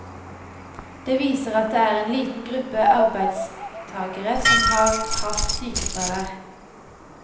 Det viser at det er en liten gruppe arbeidstagere som har hatt sykefravær.